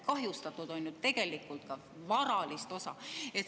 Kahjustatud on tegelikult ka varalist osa.